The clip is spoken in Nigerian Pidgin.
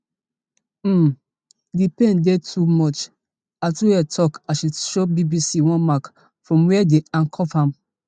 um di pain dey too much atuhaire tok as she show bbc one mark from wia dem handcuff am